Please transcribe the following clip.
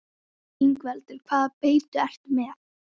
Ingveldur: Hvaða beitu ertu með?